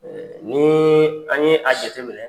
nii an' ye a jateminɛ